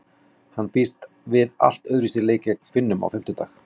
Hann býst við allt öðruvísi leik en gegn Finnum á fimmtudag.